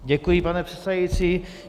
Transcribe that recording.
Děkuji, pane předsedající.